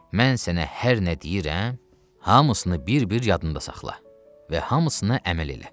mən sənə hər nə deyirəm, hamısını bir-bir yadında saxla və hamısına əməl elə.